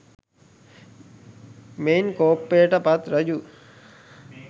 මෙයින් කෝපයට පත් රජු